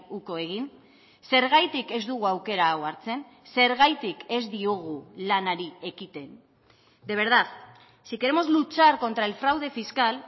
uko egin zergatik ez dugu aukera hau hartzen zergatik ez diogu lanari ekiten de verdad si queremos luchar contra el fraude fiscal